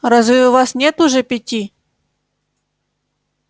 разве у вас нет уже пяти